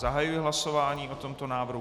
Zahajuji hlasování o tomto návrhu.